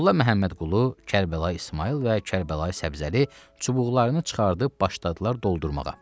Molla Məmmədqulu, Kərbəlayı İsmayıl və Kərbəlayı Səbzəli çubuqlarını çıxarıb başladılar doldurmağa.